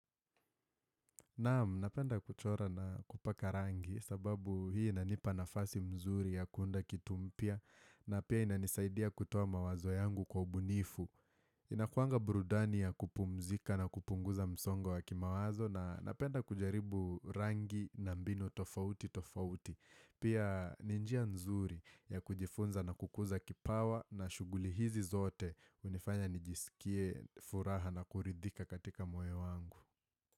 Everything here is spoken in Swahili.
Naam, napenda kuchora na kupaka rangi sababu hii inanipa nafasi mzuri ya kuunda kitu mpya na pia inanisaidia kutoa mawazo yangu kwa ubunifu. Inakuanga burudani ya kupumzika na kupunguza msongo wa kimawazo na napenda kujaribu rangi na mbinu tofauti tofauti. Pia ni njia nzuri ya kujifunza na kukuza kipawa na shughuli hizi zote hunifanya nijisikie furaha na kuridhika katika moyo wangu.